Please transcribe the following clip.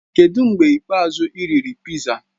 Kedụ mgbe ikpeazụ ị riri piza?